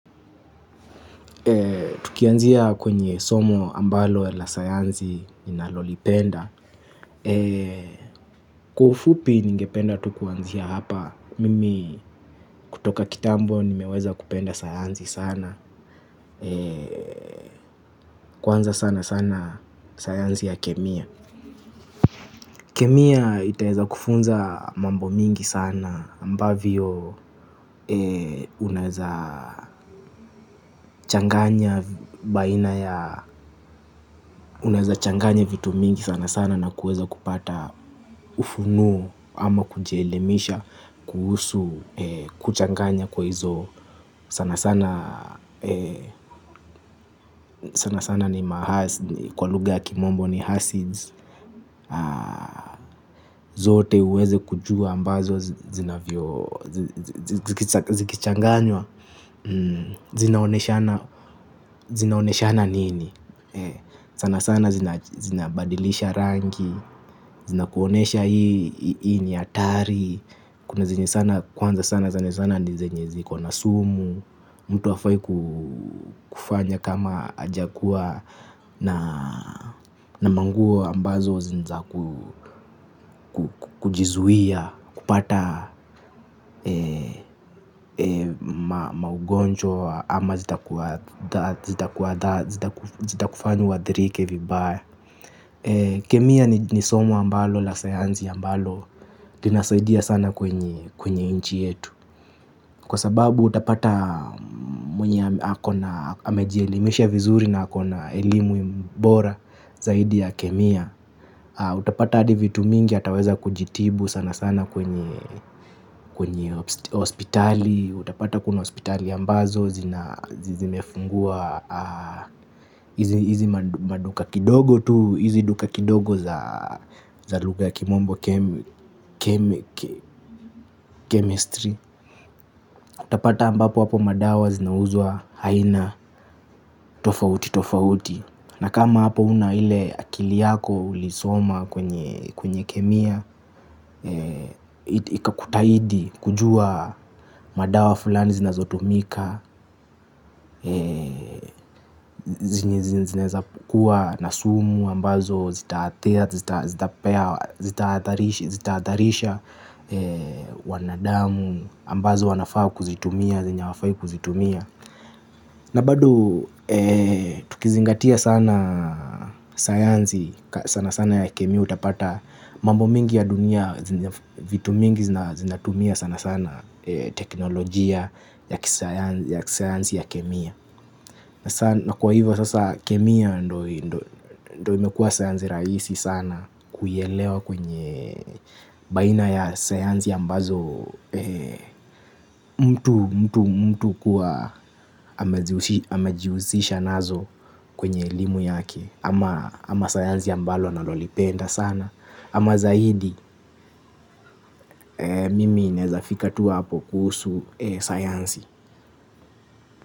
Tukianzia kwenye somo ambalo la sayansi ninalo lipenda. Kwa ufupi ningependa tu kuanzia hapa. Mimi kutoka kitambo nimeweza kupenda sayansi sana. Kwanza sana sana sayansi ya kemia. Kemia itaweza kufunza mambo mingi sana ambavyo unaeza changanya baina ya unaweza changanya vitu mingi sana sana na kuweza kupata ufunuo ama kujielimisha kuhusu kuchanganya kwa hizo sana sana sana sana ni mahasidi kwa lugha ya kimombo ni hasids. Zote uweze kujua ambazo zinavyo zikichanganywa. Zinaoneshana nini. Sana sana zinabadilisha rangi. Zina kuonesha hii ni hatari. Kwanza sana sana nizenye ziko na sumu. Mtu hafai kufanya kama hajakua na manguo ambazo nizaku kujizuia. Kupata maugonjwa ama zitakuhadhari zitakufanya uadhirike vibaya. Kemia ni somo ambalo la sayansi ambalo linasaidia sana kwenye inchi yetu. Kwa sababu utapata mwenye amejielimisha vizuri na akona elimu bora zaidi ya kemia. Utapata adi vitu mingi ataweza kujitibu sana sana kwenye hospitali. Utapata kuna hospitali ambazo zimefungua hizi maduka kidogo tu, hizi duka kidogo za lugha ya kimombo chemistry. Utapata ambapo hapo madawa zinauzwa aina tofauti tofauti. Na kama hapo una ile akili yako ulisoma kwenye kemia. Ikakutahidi kujua madawa fulani zinazotumika. Zinaeza kuwa na sumu ambazo zitaatharisha wanadamu ambazo wanafaa kuzitumia, zenye hawafai kuzitumia na bado tukizingatia sana sayansi sana sana ya kemia utapata mambo mingi ya dunia. Vitu mingi zinatumia sana sana teknolojia ya kisayansi ya kemia. Na kwa hivyo sasa kemia ndio imekua sayansi rahisi sana. Kuielewa kwenye baina ya sayansi ambazo mtu mtu kuwa amejiusisha nazo kwenye elimu yake. Ama sayansi ambalo analolipenda sana. Ama zaidi mimi naeza fika tu hapo kuhusu sayansi.